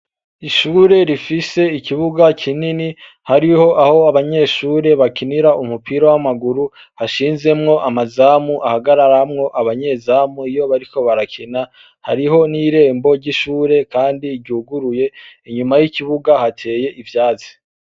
Ishure rifise ikibuga kinini hariho aho abanyeshure bakinira umupira w'amaguru hashinzemwo amazamu hahagararamwo abanyezamu iyo bariko barakina. Hariho n'irembo ry'ishure kandi ryuguruye, inyuma y'ikibuga hateye ivyatsi.